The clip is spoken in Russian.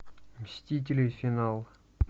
мстители финал